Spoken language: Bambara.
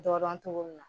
Dɔn dɔn cogo min na